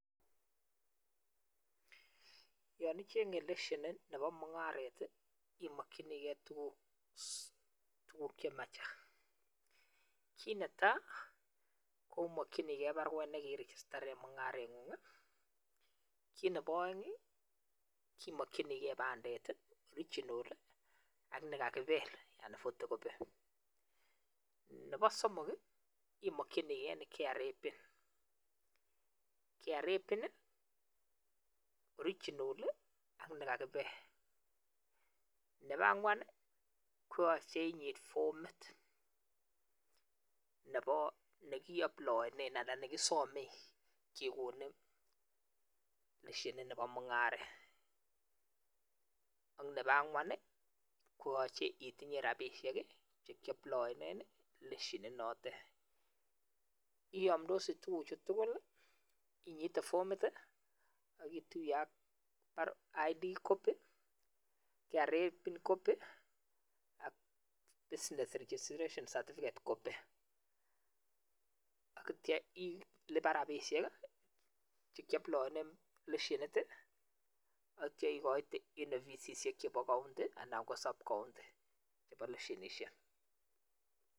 Yon ichenge leshenit nebo mungaret, imakchinkei tuguk chema chang, kiit ne tai, omakchikei baruet ne kirigistane mungarengung, kiit nebo aeng, imakchinikei kipandet original ak nekakipel anan photocopy. Nebo somok, imakchinikei KRA pin, KRA pin ne original ak nekakipel. Nebo angwan, koyache inyit fomit nebo nekiaplaane anan ne kisomee kekonin leshenit nebo mungaret ak nebo angwan, koyache itinye rapishek che kiaplaane leshenit note. Kiyamndos tuguchu tugul, inyiti fomit ak kituye ak ID copy, KRA pin copy ak business registration certificate copy akotyp ilipan rapishiek che kiaplaane leshenit atyo ikoite eng ofisisiek chebo county anan ko subcounty chebo leshenisiek.